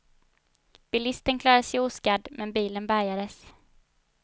Bilisten klarade sig oskadd, men bilen bärgades.